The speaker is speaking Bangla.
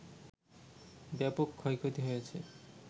ব্যাপক ক্ষয়ক্ষতি হয়েছে